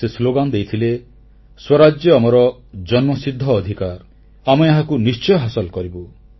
ସେ ସ୍ଲୋଗାନ ଦେଇଥିଲେ ସ୍ୱରାଜ୍ୟ ଆମର ଜନ୍ମସିଦ୍ଧ ଅଧିକାର ଆମେ ଏହାକୁ ଆମେ ନିଶ୍ଚୟ ହାସଲ କରିବୁ